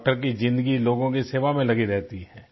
doctor की ज़िंदगी लोगों की सेवा में लगी रहती है